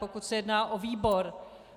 Pokud se jedná o výbor.